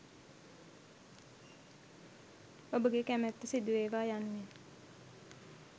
ඔබගේ කැමැත්ත සිදු වේවා යනුවෙන්